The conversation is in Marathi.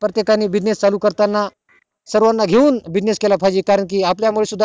प्रत्येकाने business चालू करताना सर्वाना घेऊन business केला पाहिजे कारण कि आपल्या मुळे